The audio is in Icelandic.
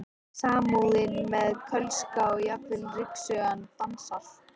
Samúðin með Kölska og jafnvel ryksugan dansar.